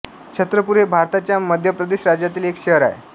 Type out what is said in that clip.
छत्रपूर हे भारताच्या मध्यप्रदेश राज्यातील एक शहर आहे